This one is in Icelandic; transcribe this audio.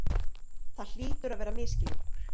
Það hlýtur að vera misskilningur.